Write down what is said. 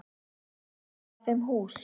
Og gefa þeim hús.